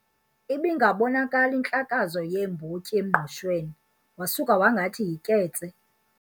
Ibingabonakali intlakazo yeembotyi emngqushweni wasuka wangathi yiketse.